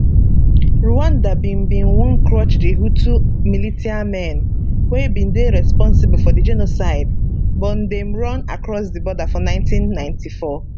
rwanda bin bin wan crush di hutu militiamen wey bin dey responsible for di genocide but dem run across di border for 1994